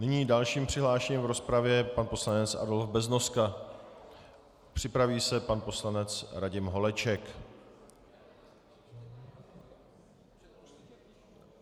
Nyní dalším přihlášeným v rozpravě je pan poslanec Adolf Beznoska, připraví se pan poslanec Radim Holeček.